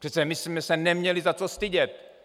Přece my jsme se neměli za co stydět.